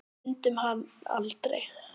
Fundum hann aldrei.